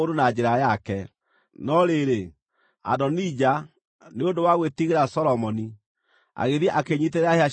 No rĩrĩ, Adonija, nĩ ũndũ wa gwĩtigĩra Solomoni, agĩthiĩ akĩĩnyiitĩrĩra hĩa cia kĩgongona.